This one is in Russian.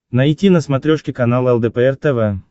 найти на смотрешке канал лдпр тв